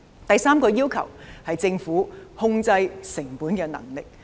第三個要求是政府控制成本的能力。